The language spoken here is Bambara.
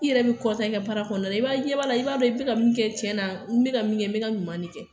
I yɛrɛ bi kɔntan i ka baara kɔnɔ i b'a ye i ɲɛ b'a la i be ka min kɛ cɛ na n be ka b min kɛ n be ka ɲuman ne kɛ